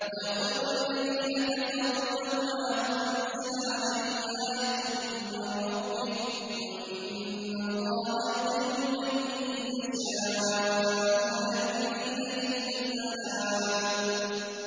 وَيَقُولُ الَّذِينَ كَفَرُوا لَوْلَا أُنزِلَ عَلَيْهِ آيَةٌ مِّن رَّبِّهِ ۗ قُلْ إِنَّ اللَّهَ يُضِلُّ مَن يَشَاءُ وَيَهْدِي إِلَيْهِ مَنْ أَنَابَ